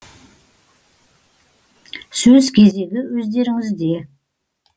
сөз кезегі өздеріңізде